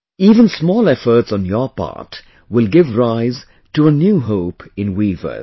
Even small efforts on your part will give rise to a new hope in weavers